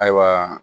Ayiwa